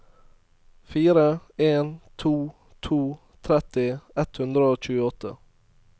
fire en to to tretti ett hundre og tjueåtte